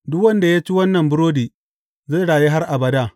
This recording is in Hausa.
Duk wanda ya ci wannan burodi, zai rayu har abada.